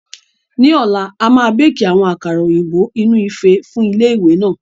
Ní ọ̀la, a máa béékì àwọn àkàrà òyìnbó inú ife fún ilé ìwé náà